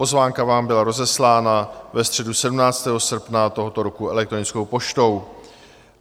Pozvánka vám byla rozeslána ve středu 17. srpna tohoto roku elektronickou poštou.